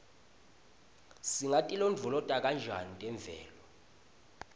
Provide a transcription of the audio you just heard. singatilondvolota njani temvelo